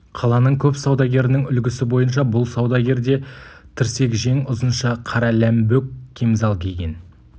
қаланың көп саудагерінің үлгісі бойынша бұл саудагер де тірсекжең ұзынша қара ләмбөк кемзал киген